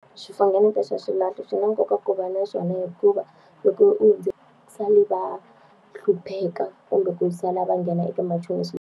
Xifunengeto xa xilahlo swi na nkoka ku va na swona hikuva, loko u hundzile va hlupheka kumbe ku sala va nghena eka machonisi.